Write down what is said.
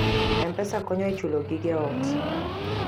M-Pesa konyo e chulo gige ot.